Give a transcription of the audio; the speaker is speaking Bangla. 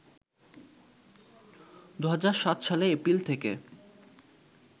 ২০০৭ সালে এপ্রিল থেকে